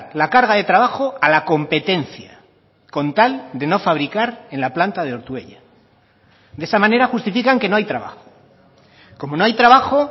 la carga de trabajo a la competencia con tal de no fabricar en la planta de ortuella de esa manera justifican que no hay trabajo como no hay trabajo